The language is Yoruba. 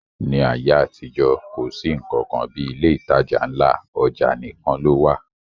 Ní ayé àtijọ́, kò sí nnkan kan bí ilé ìtajà ńlá, ọjà nìkan ló wà